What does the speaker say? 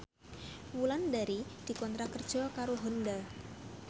Wulandari dikontrak kerja karo Honda